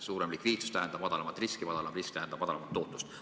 Suurem likviidsus tähendab madalamat riski, madalam risk tähendab madalamat tootlust.